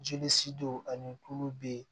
Jeli si don ani kulo be ye